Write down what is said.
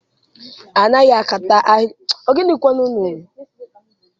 A naghị ákátá ahịrị kwụ ọtọ ma ọ bụrụ na ejighị rula.